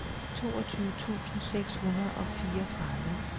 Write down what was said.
toogtyve tusind seks hundrede og fireogtredive